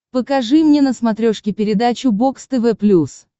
покажи мне на смотрешке передачу бокс тв плюс